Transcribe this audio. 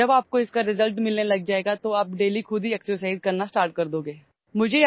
جب آپ نتائج حاصل کرنا شروع کر دیں گے تو آپ روزانہ ورزش کرنا شروع کر دیں گے